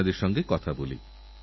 এক রকম কঠোর সাধনা করেন তাঁরা